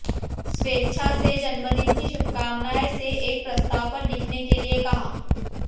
स्वेच्छा से जन्मदिन की शुभकामनाएं से एक प्रस्ताव पर लिखने के लिए कहा